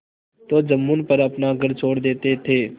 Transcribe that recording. तो जुम्मन पर अपना घर छोड़ देते थे